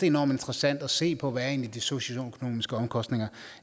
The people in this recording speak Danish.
enormt interessant at se på hvad de socioøkonomiske omkostninger